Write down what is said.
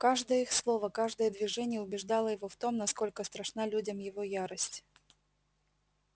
каждое их слово каждое движение убеждало его в том насколько страшна людям его ярость